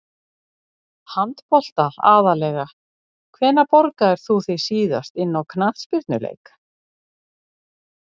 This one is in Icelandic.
Handbolta aðallega Hvenær borgaðir þú þig síðast inn á knattspyrnuleik?